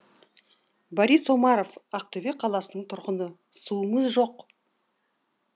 борис омаров ақтөбе қаласының тұрғыны суымыз жоқ